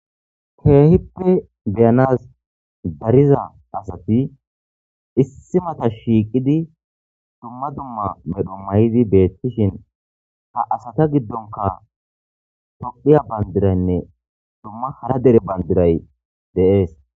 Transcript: Keehippe beyanas dariza asati issi mata shiiqidi dumma dumma medho may'idi beettishin ha asata giddonka toqiya bandiraynne dumma hara dere bandiray deees.